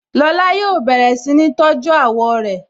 Lọ́la yóò bẹ̀rẹ̀ si ni tọ́jú àwọ̀ rẹ